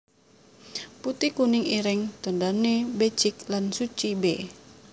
Putih kuning ireng tandhané becik lan suci b